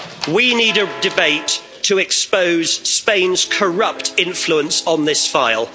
We need a debate to expose Spain's corrupt influence on this file.